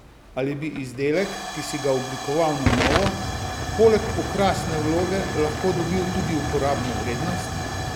Ali bi izdelek, ki si ga oblikoval na novo, poleg okrasne vloge lahko dobil tudi uporabno vrednost?